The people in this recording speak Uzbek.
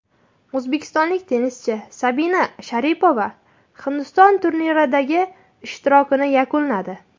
O‘zbekistonlik tennischi Sabina Sharipova Hindiston turniridagi ishtirokini yakunladi.